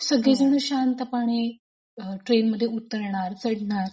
सगळेजण शांतपणे ट्रेनमधून उतरणार चढणार.